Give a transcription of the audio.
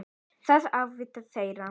Það er atvinna þeirra.